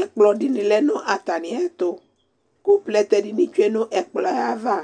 ɛkplɔdíni lɛ nu atamiɛtu ku plɛtɛ dini tsue nu ɛkplɔava